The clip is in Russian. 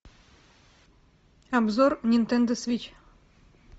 обзор нинтендо свитч